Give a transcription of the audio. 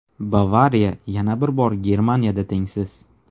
"Bavariya" yana bir bor Germaniyada tengsiz.